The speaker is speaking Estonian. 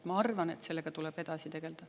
Ma arvan, et sellega tuleb edasi tegelda.